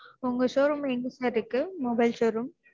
உங்க showroom எங்க sir இருக்கு mobile showroom